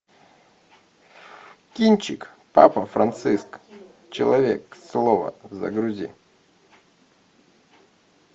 кинчик папа франциск человек слова загрузи